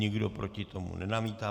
Nikdo proti tomu nenamítá.